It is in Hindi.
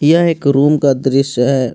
यह एक रूम का दृश्य है।